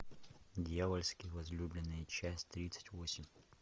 дьявольские возлюбленные часть тридцать восемь